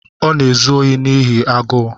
Ọ na-ezu ohi n’ihi agụụ.